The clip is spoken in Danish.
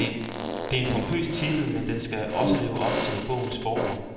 Det er en pompøs titel, men den skal også leve op til bogens forord.